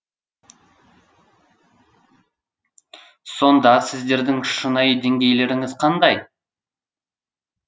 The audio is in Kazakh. сонда сіздердің шынайы деңгейлерініз қандай